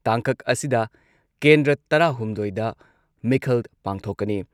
ꯇꯥꯡꯀꯛ ꯑꯁꯤꯗ ꯀꯦꯟꯗ꯭ꯔ ꯇꯔꯥꯍꯨꯝꯗꯣꯏꯗ ꯃꯤꯈꯜ ꯄꯥꯡꯊꯣꯛꯀꯅꯤ ꯫